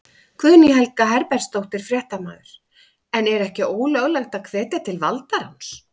Guðný Helga Herbertsdóttir, fréttamaður: En er ekki ólöglegt að hvetja til valdaráns?